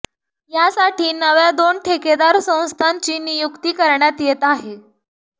यासाठी नव्या दोन ठेकेदार संस्थांची नियुक्ती करण्यात येत आहे